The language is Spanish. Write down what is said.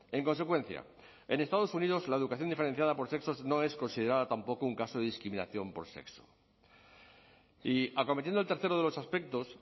en consecuencia en estados unidos la educación diferenciada por sexos no es considerada tampoco un caso de discriminación por sexo y acometiendo el tercero de los aspectos